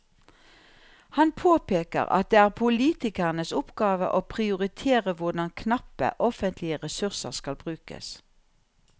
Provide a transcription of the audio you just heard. Han påpeker at det er politikernes oppgave å prioritere hvordan knappe offentlige ressurser skal brukes.